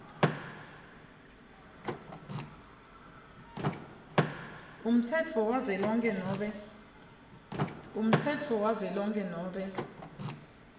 umtsetfo wavelonkhe nobe